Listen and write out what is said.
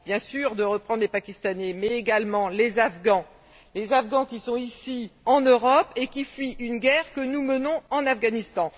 Bien sûr, de reprendre les Pakistanais, mais également les Afghans, qui sont ici en Europe et qui fuient une guerre que nous menons en Afghanistan.